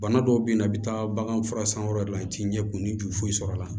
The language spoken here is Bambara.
Bana dɔw be yen nɔ i bi taa baganfura san wɛrɛ de la i ti ɲɛ kun ni jufoyi sɔrɔ la